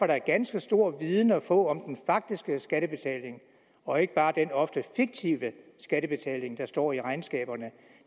der ganske stor viden at få om den faktiske skattebetaling og ikke bare den ofte fiktive skattebetaling der står i regnskaberne